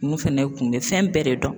Mun fɛnɛ kun bɛ fɛn bɛɛ de dɔn